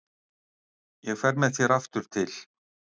Ég fer með þér aftur til